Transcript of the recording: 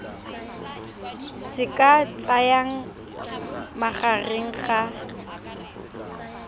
se ka tsayang magareng ga